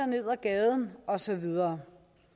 ned ad gaden og så videre